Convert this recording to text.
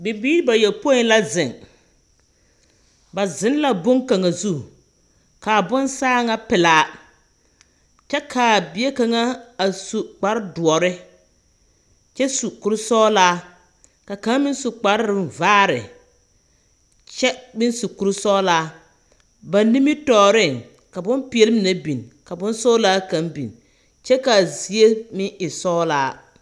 Bibiiri bayopoi la zeŋ. Ba zeŋ la boŋkaŋa zu, kaa bone saa ŋa pelaa kyԑ kaa bie kaŋa a su kpare doͻre kyԑ su kuri sͻgelaa, ka kaŋa meŋ su kpare vaare kyԑ meŋ su kuri sͻgelaa. Ba nimitͻͻreŋ, ka bompeԑle mine biŋ ka bonsͻgelaa kaŋ biŋ kyԑ kaa zie meŋ e sͻgelaa.